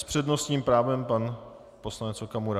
S přednostním právem pan poslanec Okamura.